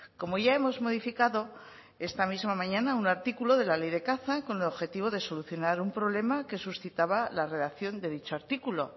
como ya hemos modificado esta misma mañana un artículo de la ley de caza con el objetivo de solucionar un problema que suscitaba la redacción de dicho artículo